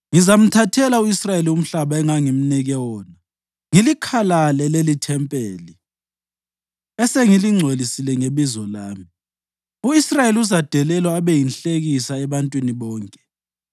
ngizamthathela u-Israyeli umhlaba engangimnike wona ngilikhalale leli ithempeli esengilingcwelisile ngeBizo lami. U-Israyeli uzadelelwa abe yinhlekisa ebantwini bonke.